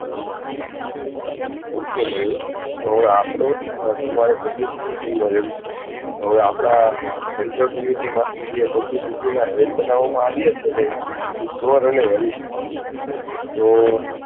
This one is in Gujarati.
મયુર તમારે publicity team માં રેહવું છે તો આપણે central committee માંથી જેને publicity head બનાવામાં આવે છે ને